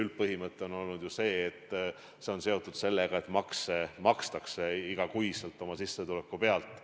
Üldpõhimõte on olnud, et see on seotud sellega, et makstakse iga kuu oma sissetuleku pealt.